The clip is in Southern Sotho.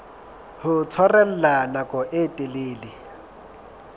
ho tshwarella nako e telele